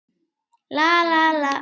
Það fer allt eftir honum.